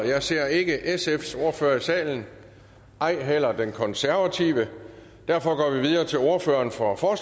jeg ser ikke sfs ordfører i salen og ej heller den konservative derfor går vi videre til ordføreren for for